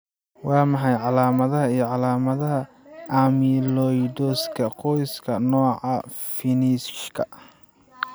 Waa maxay calaamadaha iyo calaamadaha amyloidoska qoyska, nooca Finnishka?